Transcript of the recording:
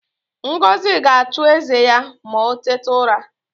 Ngozi ga-achụ eze ya ma o tete ụra